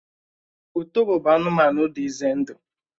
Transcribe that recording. Ùtòbó bụ anụmanụ dị ìzé ndụ